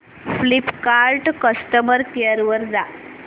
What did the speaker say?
Flipkart customer care वर जा